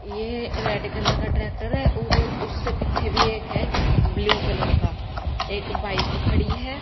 ये red colour का tractor है और उससे पीछे भी एक है ब्लू कलर का एक बाइक खड़ी हैं।